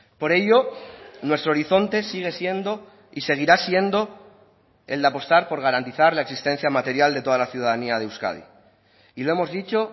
por ello nuestro horizonte sigue siendo y seguirá siendo el de apostar por garantizar la existencia material de toda la ciudadanía de euskadi y lo hemos dicho